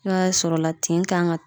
N'a y'a sɔrɔla tin kan ka